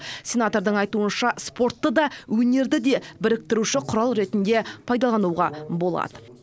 сенатордың айтуынша спортты да өнерді де біріктіруші құрал ретінде пайдалануға болады